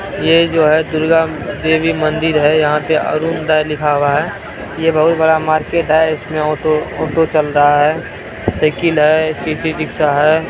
ये जो है प्रियांम देवी मन्दिर है यहाँ पे अरुण दाय लिखा हुआ है| ये बहुत बड़ा मार्केट है | इसमें ऑटो ऑटो चल रहा है साइकिल है सिटी रिक्शा है।